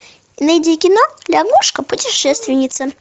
найди кино лягушка путешественница